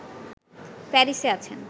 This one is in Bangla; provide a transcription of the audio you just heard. প্যারিসে আছেন